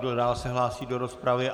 Kdo dál se hlásí do rozpravy?